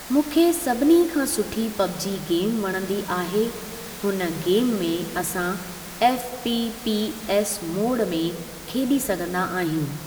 मूंखे सभिनी खां सुठी पबजी गेम वणंदी आहे हुन गेम में असां एफपीपीएस मोड में खेॾी सघंदा आहियूं।